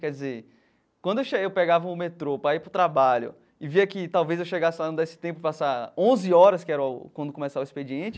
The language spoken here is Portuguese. Quer dizer, quando eu chegava, eu pegava o metrô para ir para o trabalho e via que talvez eu chegasse lá, não desse tempo, passar onze horas, que era quando começava o expediente,